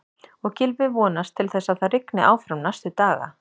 Og Gylfi vonast til þess að það rigni áfram næstu daga?